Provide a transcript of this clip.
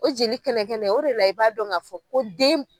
O jeli kɛnɛ kɛnɛ o de la i b'a dɔn ka fɔ ko den